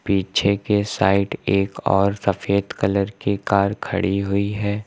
पीछे के साइड एक और सफेद कलर की कार खड़ी हुई है।